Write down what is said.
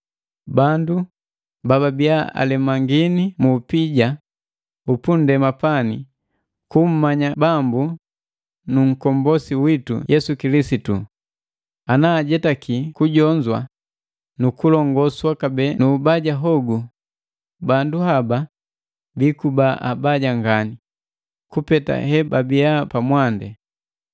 Bandu bababiya alemangini mu upija upunndema pani ku kummanya Bambu nu Nkombosi witu Yesu Kilisitu, ana ajetaki kujonzwa nu kulongoswa kabee nu ubaja hogu bandu haba biikuba abaja ngani kupeta hebabi pamwandi.